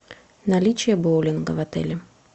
наличие боулинга в отеле